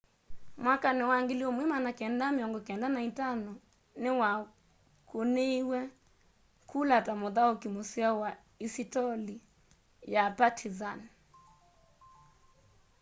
mwakanĩ wa 1995 nĩwakũnĩiwe kũla ta mũthaũkĩ mũseo wa isitoli ya partĩzan